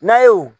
N'a ye o